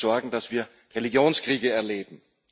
Er wird dafür sorgen, dass wir Religionskriege erleben.